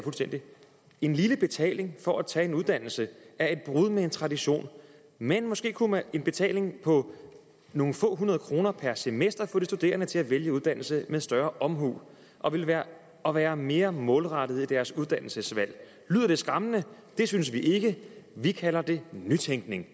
en lille betaling for at tage en uddannelse er et brud med en tradition men måske kunne en betaling på nogle få hundrede kroner per semester få de studerende til at vælge uddannelse med en større omhu og være og være mere målrettede i deres uddannelsesvalg lyder det skræmmende det synes vi ikke vi kalder det nytænkning